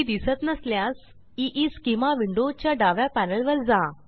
ती दिसत नसल्यास ईस्केमा विंडो च्या डाव्या पॅनेलवर जा